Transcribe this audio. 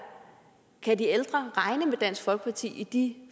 kan de ældre regne med dansk folkeparti i de